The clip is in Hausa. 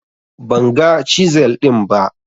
Ban ga cizel ɗin ba